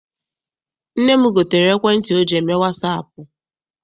Nne m gotere ekwentị ọ ji eme wasaapụ.